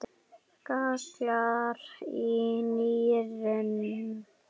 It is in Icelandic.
gallar í nýrum